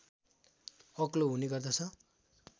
अग्लो हुने गर्दछ